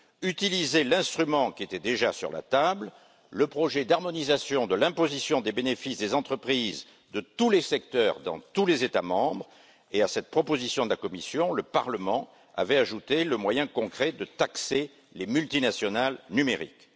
Utiliser l'instrument qui était déjà sur la table, le projet d'harmonisation de l'imposition des bénéfices des entreprises de tous les secteurs dans tous les États membres et, à cette proposition de la Commission, le Parlement avait ajouté le moyen concret de taxer les multinationales numériques.